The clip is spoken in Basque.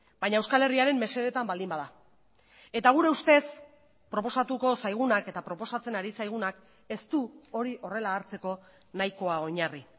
baina euskal herriaren mesedetan baldin bada eta gure ustez proposatuko zaigunak eta proposatzen ari zaigunak ez du hori horrela hartzeko nahikoa oinarri